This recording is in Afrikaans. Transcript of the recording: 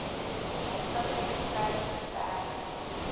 jacobs getuig verder